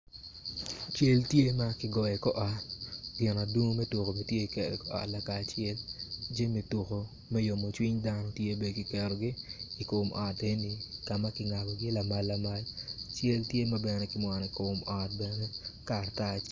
Cal tye makigoyo i kor ot tyen adungu me tuko bene tye kiketo iot lakaracelu jami tuko me yomocwiny dano bene kiketogi i kom ot enoni kama kingabogi lamal lamal cal tye mabene kimwono i kom ot bene karatac.